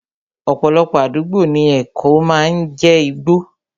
Ọ̀pọ̀lọpọ̀ àdúgbò ní èkó máa ń jé igbó